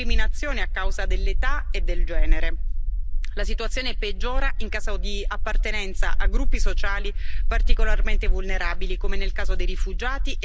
La situazione peggiora in caso di appartenenza a gruppi sociali particolarmente vulnerabili, come nel caso dei rifugiati e dei disabili, e nuove minacce arrivano anche dal web.